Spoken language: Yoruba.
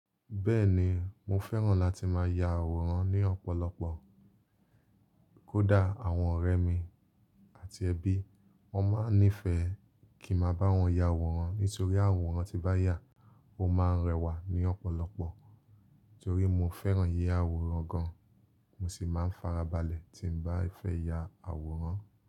Bẹ́ẹ̀ni mo fẹ́ràn láti máa ya àwòrán ní ọ̀pọ̀lọpọ̀. Kódà àwọn ọ̀rẹ́ mi àti ẹbí, wọ́n máa ń nífẹ̀ẹ́ kí máa bá wọn ya àwòrán nítorí àwòrán tí bá yà, ó máa ń rẹwà ní ọ̀pọ̀lọpọ̀. Nítorí mo fẹ́ràn yíya àwòrán gan, mo sì máa ń farabalẹ̀ tí ń bá fẹ́ ya àwòrán.